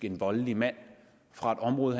en voldelig mand fra et område